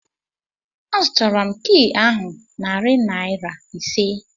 A zụtara m kịị ahụ narị naira ise